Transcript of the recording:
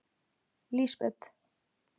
Lísbet